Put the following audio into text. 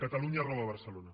catalunya roba barcelona